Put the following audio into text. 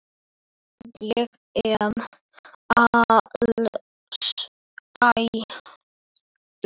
Ég er alsæll.